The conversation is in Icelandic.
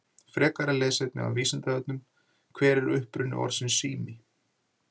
Frekara lesefni af Vísindavefnum: Hver er uppruni orðsins sími?